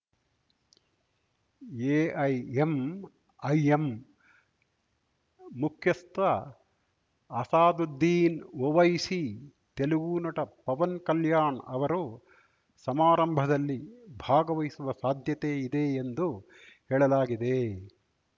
AIMIM ಮುಖ್ಯಸ್ಥ ಆಸಾದುದ್ದೀನ್‌ ಒವೈಸಿ ತೆಲುಗು ನಟ ಪವನ್‌ ಕಲ್ಯಾಣ್ ಅವರು ಸಮಾರಂಭದಲ್ಲಿ ಭಾಗವಹಿಸುವ ಸಾಧ್ಯತೆ ಇದೆ ಎಂದು ಹೇಳಲಾಗಿದೆ